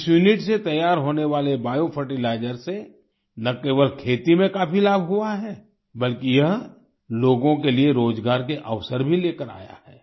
इस यूनिट से तैयार होने वाले बायो फर्टिलाइजर से न केवल खेती में काफी लाभ हुआ है बल्कि यह लोगों के लिए रोजगार के अवसर भी लेकर आया है